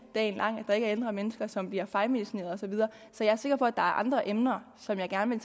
dagen lang at der ikke er ældre mennesker som bliver fejlmedicineret og så videre så jeg er sikker på at der er andre emner som jeg gerne